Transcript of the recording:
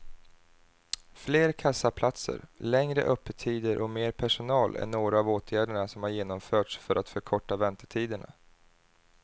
Fler kassaplatser, längre öppettider och mer personal är några av åtgärderna som har genomförts för att förkorta väntetiderna.